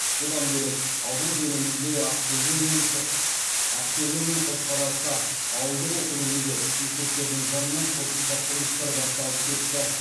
бұдан бөлек аудан көлемінде ақтөбе мен қошқарата ауылдық округінде де мектептердің жанынан қосымша құрылыстар басталып кетті